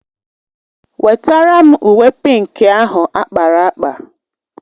Nwetara m uwe pịnkị ahụ akpara akpa!